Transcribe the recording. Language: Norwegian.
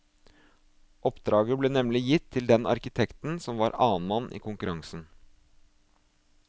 Oppdraget ble nemlig gitt til den arkitekten som var annenmann i konkurransen.